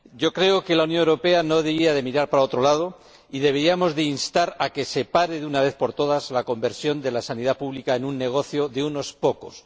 Creo que la Unión Europea no debería mirar para otro lado, y deberíamos instar a que se pare, de una vez por todas, la conversión de la sanidad pública en un negocio de unos pocos.